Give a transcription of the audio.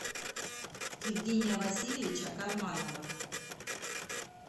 евгения васильевича карманова